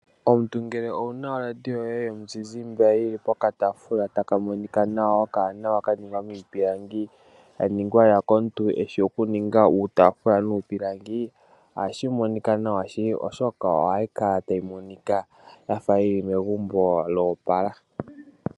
Omuntu ngele owuna oradio yo ye yomu zizimbe yi li po katafula taka monika nawa okanawa ka ningwa miipilangi ya ningwa lela komuntu e shi oku ninga uutafula nuupilangi, ohashi monika nawa shili. Oshoka ohayi kala tayi monika yafa yili megumbo lyopala.